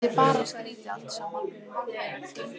Þetta er bara skrítið allt saman.